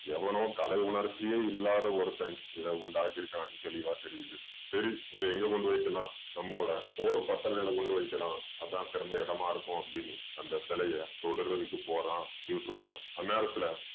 எவனோ கலை உணர்ச்சியே இல்லாத ஒருத்தன் இதை உண்டாக்கி இருக்கான்னு தெளிவா தெரியுது. சரி இதை எங்க கொண்டு போய் வைக்கலாம். நம்மளோட போர் பட்டறைக்கு கொண்டு வைக்கலாம் அது தான் சிறந்த இடமா இருக்கும் அப்படீன்னு அந்த சிலைய தொடறதுக்கு போறான் யூசுஃப் கான். அந்நேரத்துல